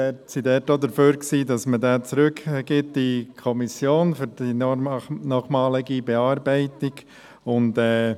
Wir waren dafür, dass dieser zur nochmaligen Bearbeitung in die Kommission zurückgegeben wird.